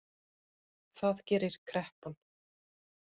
Það gerir kreppan